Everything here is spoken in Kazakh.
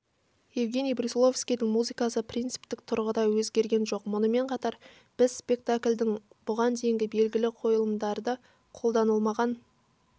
евгений брусиловскийдің музыкасы принциптік тұрғыда өзгерген жоқ мұнымен қатар біз спектакльдің бұған дейінгі белгілі қойылымдарда қолданылмаған